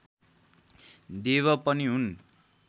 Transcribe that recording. देव पनि हुन्